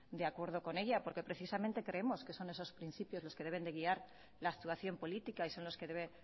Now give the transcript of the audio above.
de acuerdo con ella porque precisamente creemos que son esos principios los que deben de guiar la actuación política y son los que debe